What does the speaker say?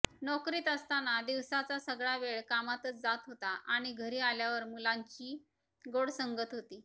नोकरीत असतांना दिवसाचा सगळा वेळ कामातच जात होता आणि घरी आल्यावर मुलांची गोड संगत होती